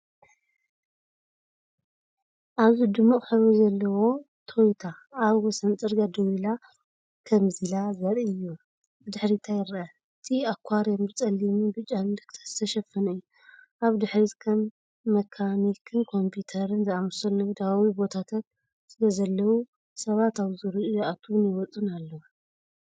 ኣብዚ ድሙቕ ሕብሪ ዘለዋ ቶዮታ ኣብ ወሰን ጽርግያ ደው ኢላ ከምዘላ ዘርኢ እዩ። ብድሕሪታ ይርአ። እቲ ኣኳርየም ብጸሊምን ብጫን ምልክታት ዝተሸፈነ እዩ። ኣብ ድሕሪት ከም መካኒክን ኮምፒተርን ዝኣመሰሉ ንግዳዊ ቦታታት ስለዘለዉ፡ ሰባት ኣብ ዙርያኡ ይኣትዉን ይወጹን ኣለዉ።